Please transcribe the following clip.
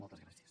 moltes gràcies